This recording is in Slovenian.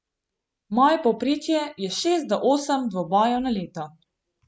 Moje povprečje je šest do osem dvobojev na leto.